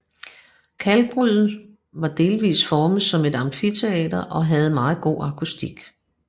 Kalkbruddet var delvist formet som et amfiteater og havde meget god akustik